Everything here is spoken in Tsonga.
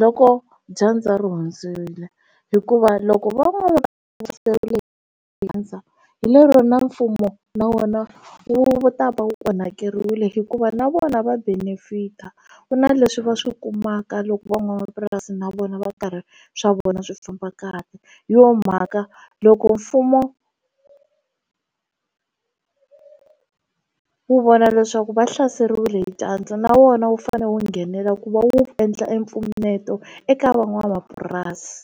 loko dyandza ri hundzile hikuva loko va hlaseriwile ndzi rhandza hi lero na mfumo na wona wu ta va wu onhakeriwile hikuva na vona va benefit-a ku na leswi va swi kumaka loko van'wamapurasi na vona va karhi swa vona swi famba kahle hi yona mhaka loko mfumo wu vona leswaku va hlaseriwile hi dyandza na wona wu fane wu nghenela ku endla empfuneto eka van'wamapurasi.